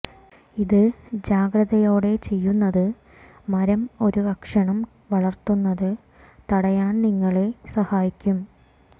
ഇത് ജാഗ്രതയോടെ ചെയ്യുന്നത് മരം ഒരു കഷണം വളർത്തുന്നത് തടയാൻ നിങ്ങളെ സഹായിക്കും